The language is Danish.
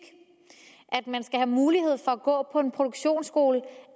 at mulighed for at gå på en produktionsskole